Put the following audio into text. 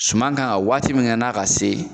Suman kan ka waati min kɛ n'a ka se